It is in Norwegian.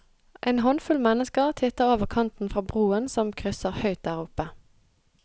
En håndfull mennesker titter over kanten fra broen som krysser høyt der oppe.